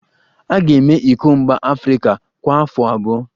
A ga-eme iko mba Afrịka kwa afọ abụọ